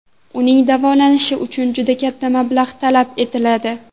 Uning davolanishi uchun juda katta mablag‘ talab etiladi.